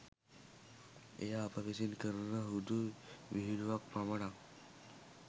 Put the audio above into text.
එය අප විසින් කරන හුදු විහිළුවක් පමණක්